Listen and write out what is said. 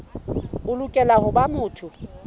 o lokela ho ba motho